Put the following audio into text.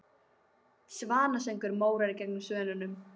Svanasöngur Móra gegn Svönunum?